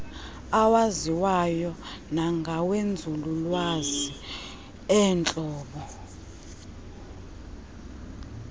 awaziwayo nangawenzululwazi eentlobo